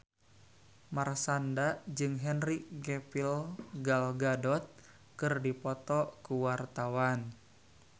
Marshanda jeung Henry Cavill Gal Gadot keur dipoto ku wartawan